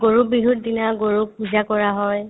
গৰু বিহুৰ দিনা গৰুক পূজা কৰা হয়